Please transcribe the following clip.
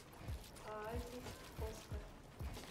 оазис оскара